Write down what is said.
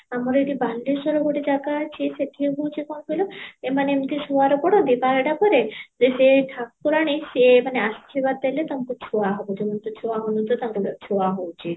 ଆମର ଏଠି ବାଲେଶ୍ଵର ଗୋଟେ ଜାଗା ଅଛି ସେହତି ହଉଚି କଣ କହିଲ ଏମାନେ ଏମିତ ପଢନ୍ତି ବାରଟା ପରେ ଯେ ସେ ଠାକୁରାଣୀ ସେ ମାନେ ଆଶୀର୍ବାଦ ଦେଲେ ତାଙ୍କ ଛୁଆ ହବ ଛୁଆ ହାଉଣୀ ତ ତାଙ୍କର ଛୁଆ ହଉଚି